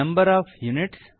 of units